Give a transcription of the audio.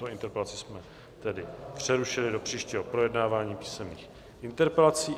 Tuto interpelaci jsme tedy přerušili do příštího projednávání písemných interpelací.